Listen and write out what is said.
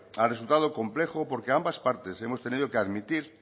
ha resultado complejo porque ambas partes hemos tenido que admitir